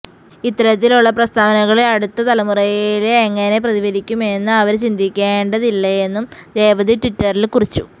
ഇത്തരത്തിലുള്ള പ്രസ്താവനകള് അടുത്ത തലമുറയില് എങ്ങനെ പ്രതിഫലിപ്പിക്കുമെന്ന് അവര് ചിന്തിക്കേണ്ടതില്ലേയെന്നും രേവതി ട്വിറ്ററില് കുറിച്ചു